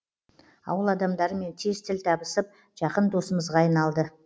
ауыл адамдарымен тез тіл табысып жақын досымызға айналды